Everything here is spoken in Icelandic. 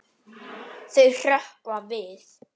Þau hrökkva við.